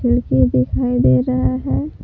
खिड़की दिखाई दे रहा है।